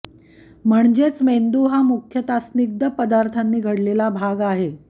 म्हणजेच मेंदू हा मुख्यतः स्निग्ध पदार्थांनी घडलेला भाग आहे